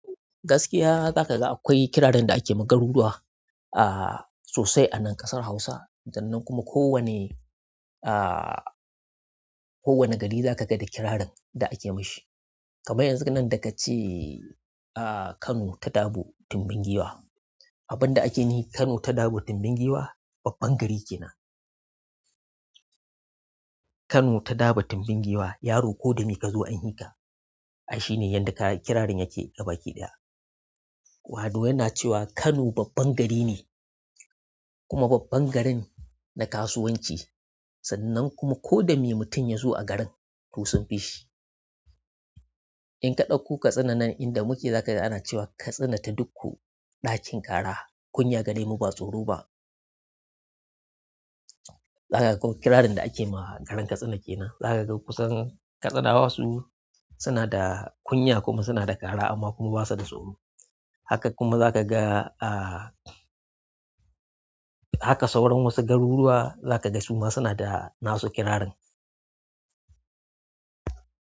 Gaskiya za ka ga akwai kirarin da ake ma garuruwa, aah, sosai a nan ƙasar Hausa, sannan kuma ko wane, aah ko wane gari za ka ga da kirarin da ake mashi. Kamar yanzu nan da ka ce aah Kano ta dabo tumbin giwa. Abin da ake nufi Kano ta dabo tumbin giwa, babban gari kenan. Kano ta dabo tumbin giwa, yaro ko da me ka zo an fi ka. Ai shine yanda kirarin yake gabaki ɗaya. Wanda yana cewa Kano babban gari ne kuma babban garin na kasuwanci. Sannan kuma ko da me mutum ya zo a garin, to sun fi shi. In ka ɗauko Katsina nan inda muke za ka ga ana cewa Katsina ta dikko, ɗakin ƙara, kunya gare mu ba tsoro ba. Za ka ga kirarin da ake ma garin Katsina ke nan. Za ka ga kusan Katsinawa su suna da kunya kuma suna da ƙara amma kuma ba su da tsoro. Haka kuma za ka ga aah, haka sauran wasu garuruwa za ka ga su ma suna da nasu kirarin.